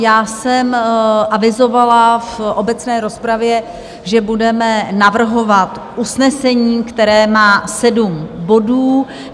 Já jsem avizovala v obecné rozpravě, že budeme navrhovat usnesení, které má sedm bodů.